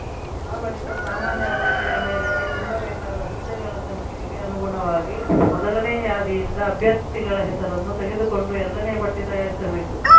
ಆ ಬಳಿಕ ಸಾಮಾನ್ಯ ಅರ್ಹತೆಯ ಮೇರೆಗೆ ತುಂಬಬೇಕಾದ ಹುದ್ದೆಗಳ ಸಂಖ್ಯೆಗೆ ಅನುಗುಣವಾಗಿ ಮೊದಲನೇ ಯಾದಿಯಿಂದ ಅಭ್ಯರ್ಥಿಗಳ ಹೆಸರನ್ನು ತೆಗೆದುಕೊಂಡು ಎರಡನೇ ಪಟ್ಟಿತಯಾರಿಸಬೇಕು